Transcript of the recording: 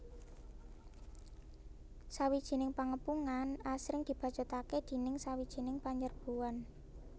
Sawijining pangepungan asring dibacutaké déning sawijining panyerbuan